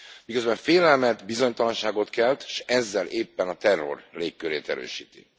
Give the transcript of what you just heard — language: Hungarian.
Miközben félelmet, bizonytalanságot kelt, s ezzel éppen a terror légkörét erősíti.